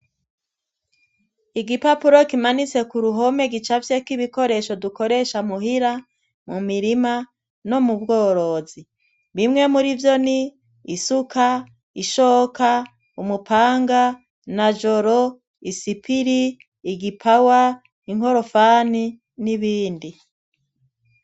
Igipapuro kimanitse ku ruhome gica vyeko'ibikoresho dukoresha muhira mu mirima no mu bworozi bimwe muri vyo ni isuka ishoka umupanga na joro i sipiri igipawa inkorofani n'ibindi a.